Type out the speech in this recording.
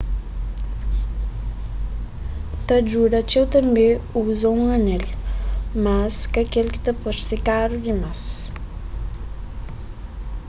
ta djuda txeu tanbê uza un anel mas ka k-el ki ta parse karu dimas